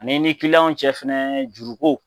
An'i ni ki cɛ fɛnɛ juru ko.